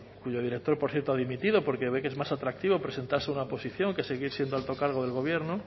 cuyo director por cierto ha dimitido porque ve que es más atractivo presentarse a una oposición que seguir siendo alto cargo del gobierno